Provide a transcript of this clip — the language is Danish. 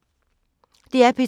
DR P2